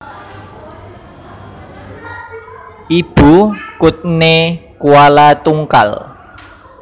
Ibu kuthné Kualatungkal